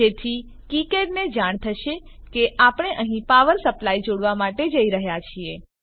જેથી કીકેડ ને જાણ થશે કે આપણે અહીં પાવર સપ્લાય જોડવા માટે જઈ રહ્યા છીએ